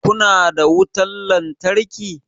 Kuna da wutan lantarki?